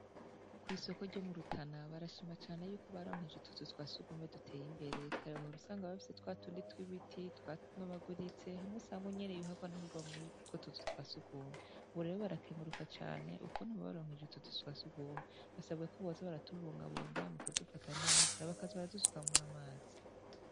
Kw’isoko ryo mu rutana barashima cane ko baronkejwe utuzu twasugumwe duteye imbere kare wahora usanga bafise tumwe tw'ibiti twatobaguritse hamwe usanga unyereye uhakwa kugwa murutwo tuzu twasugumwe, ubu rero barakenguruka cane ukuntu babaronkeje utuzu twasugumwe, basabwe koboza bara tubungabunga bakadufata neza bakaza baradusakamwo amazi.